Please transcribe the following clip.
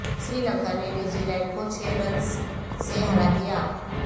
سری لنکا نے New Zealand کو چھ رنز سے ہرا دیا